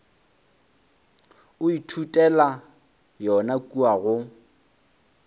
o ithutela yona kua go